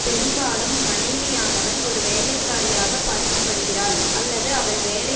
பெரும்பாலும் மணைவியானவள் ஒரு வேலைக்காரியாகப் பார்க்கப்படுகிறாள் அல்லது அவள் வேலை